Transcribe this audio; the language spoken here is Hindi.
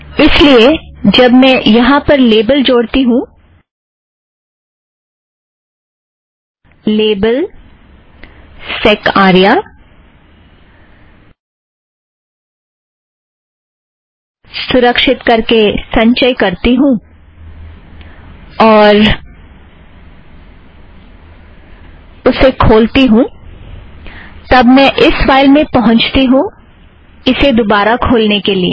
इस लिए जब मैं यहाँ पर लेबल जोड़ती हूँ लेबल - सैक् आर्या सुरक्षित करके संचय करती हूँ और उसे खोलती हूँ तब मैं इस फ़ाइल में पहुँचती हूँ इसे दोबारा खोलने के लिए